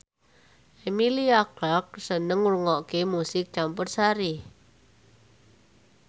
Emilia Clarke seneng ngrungokne musik campursari